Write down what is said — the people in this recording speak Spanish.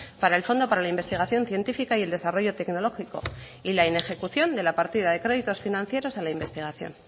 para el fondo para la investigación científica y el desarrollo tecnológico y la inejecución de la partida de créditos financieros a la investigación